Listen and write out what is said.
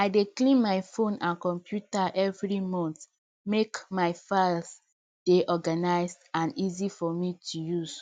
i dey clean my phone and computer every month make my files dey organised and easy for me to use